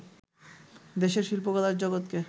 দেশের শিল্পকলার জগৎকে